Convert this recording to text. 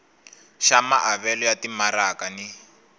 xa maavelo ya timaraka ni